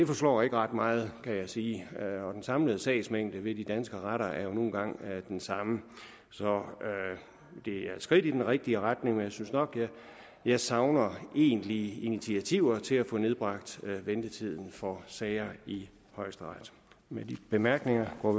forslår ikke ret meget kan jeg sige og den samlede sagsmængde ved de danske retter er nu engang den samme det er et skridt i den rigtige retning men jeg synes nok at jeg savner egentlige initiativer til at få nedbragt ventetiden for sager i højesteret med de bemærkninger går